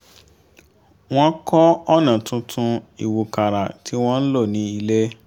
wọ́n kọ́ ọ̀nà tuntun ìwúkàrà tí wọ́n ń lò ní ilé